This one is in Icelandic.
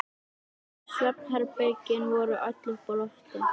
Svefnherbergin voru öll uppi á lofti.